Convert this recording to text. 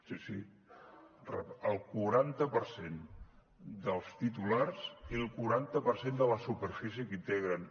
sí sí el quaranta per cent dels titulars i el quaranta per cent de la superfície que integren